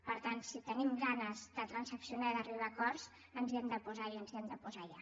per tant si tenim ganes de transaccionar i d’arribar a acords ens hi hem de posar i ens hi hem de posar ja